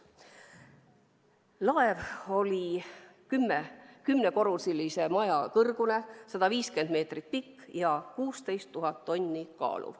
Laev oli 10-korruselise maja kõrgune, 150 meetrit pikk ja kaalus 16 000 tonni.